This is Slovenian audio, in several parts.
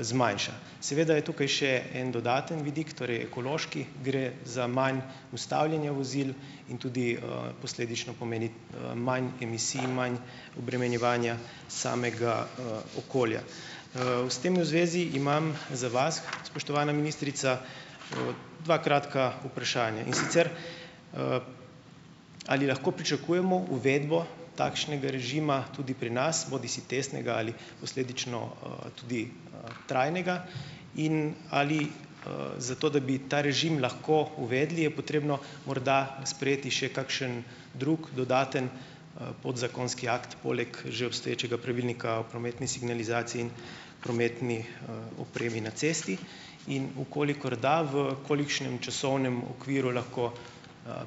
zmanjša. Seveda je tukaj še en dodaten vidik, torej ekološki. Gre za manj ustavljanja vozil in tudi, posledično pomeni, manj emisij in manj obremenjevanja samega, okolja. V s tem v zvezi imam za vas, spoštovana ministrica, dve kratki vprašanji. In sicer: ali lahko pričakujemo uvedbo takšnega režima tudi pri nas, bodisi testnega ali posledično, tudi, trajnega? In, ali, za to, da bi ta režim lahko uvedli, je potrebno morda sprejeti še kakšen drug dodatni, podzakonski akt poleg že obstoječega pravilnika o prometni signalizaciji in prometni, opremi na cesti. In v kolikor da, v kolikšnem časovnem okviru lahko,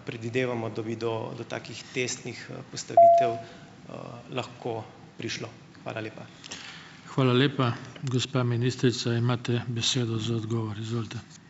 predvidevamo, da bi do do takih testnih, postavitev, lahko prišlo. Hvala lepa.